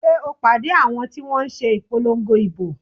Sé o pàdé àwọn ti wọ́n n se ìpolongo ìbò?